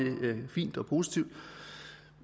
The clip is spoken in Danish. fint og positivt